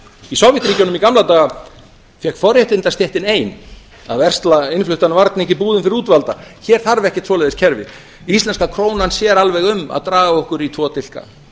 í sovétríkjunum í gamla daga fékk forréttindastéttin ein að versla innfluttan varning í búðum fyrir útvalda hér þarf ekkert svoleiðis kerfi íslenska krónan sér alveg um að draga okkur í tvo dilka